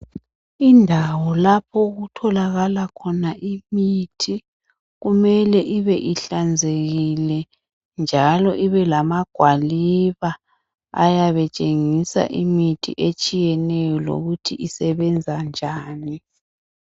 Indawo lapho okutholakala khona imithi, kumele ibe ihlanzekile njalo ibe lamagwaliba ayabe etshengisa imithi etshiyeneyo lokuthi isebenza njani.